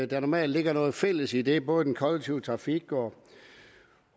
der normalt ligger noget fælles i det både den kollektive trafik